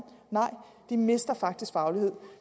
nej de mister faktisk faglighed